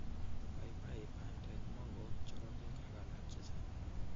paipai, bandek, moko ok chorokek ak alak chechang.